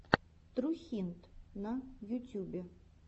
трухинт на ютюбе